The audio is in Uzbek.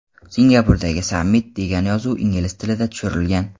Singapurdagi sammit” degan yozuv ingliz tilida tushirilgan.